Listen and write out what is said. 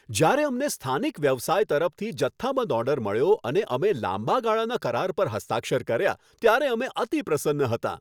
જ્યારે અમને સ્થાનિક વ્યવસાય તરફથી જથ્થાબંધ ઓર્ડર મળ્યો અને અમે લાંબા ગાળાના કરાર પર હસ્તાક્ષર કર્યા ત્યારે અમે અતિપ્રસન્ન હતાં.